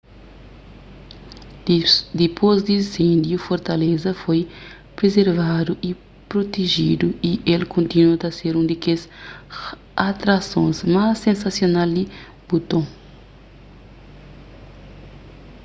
dipôs di insêndiu fortaleza foi prizervadu y prutejidu y el kontinua ta ser un di kes atrasons más sensasional di buton